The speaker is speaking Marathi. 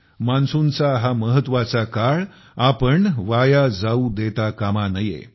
मान्सूनचा हा महत्वाचा काळ आपण वाया जाऊ देता कामा नये